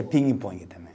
E pingue-pongue também.